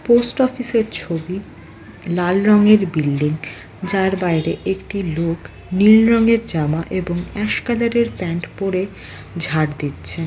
Post অফিসের ছবি লাল রঙের বিল্ডিং যার বাইরে একটি লোকনীল রঙের জামা এবং অ্যাস কালারের প্যান্ট পরে ঝাঁর দিচ্ছে ।